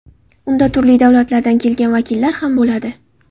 Unda turli davlatlardan kelgan vakillar ham bo‘ladi.